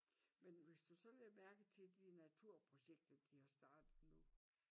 Men hvis du så lagde mærke til de naturprojekter de har startet nu